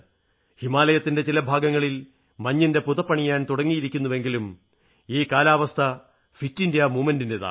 ഹിമാലയത്തിന്റെ ചില ഭാഗങ്ങൾ മഞ്ഞിന്റെ പുതപ്പണിയാൻ തുടങ്ങിയിരിക്കുന്നെങ്കിലും ഈ കാലാവസ്ഥ ഫിറ്റിന്ത്യാ പ്രസ്ഥാനത്തിന്റേതാണ്